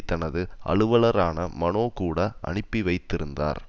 தனது அலுவலரான மனோ கூட அனுப்பிவைத்திருந்தார்